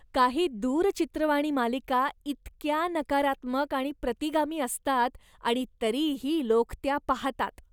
काही दूरचित्रवाणी मालिका इतक्या नकारात्मक आणि प्रतिगामी असतात आणि तरीही लोक त्या पाहतात.